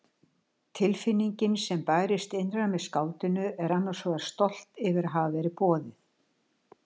Tilfinningin sem bærist innra með skáldinu er annars vegar stolt yfir að hafa verið boðið.